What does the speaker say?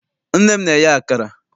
Nne m na-eye akara.